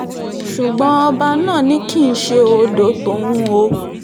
ṣùgbọ́n ọba náà ni kì í ṣe odò tòun o